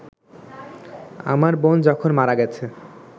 আমার বোন যখন মারা গেছে